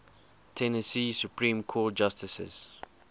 tennessee supreme court justices